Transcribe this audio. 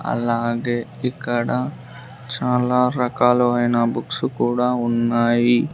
అలాగే ఇక్కడ చాలా రకాలావైన బుక్స్ కూడా ఉన్నాయి.